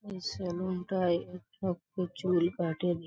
এই সেলুন -টায় এক লোকও চুল কাটেনি ।